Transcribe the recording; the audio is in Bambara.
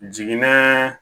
Jiginna